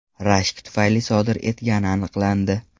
rashk tufayli sodir etgani aniqlandi.